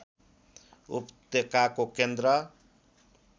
उपत्यकाको केन्द्र